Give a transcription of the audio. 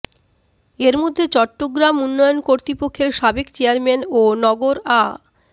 এর মধ্যে চট্টগ্রাম উন্নয়ন কর্তৃপক্ষের সাবেক চেয়ারম্যান ও নগর আ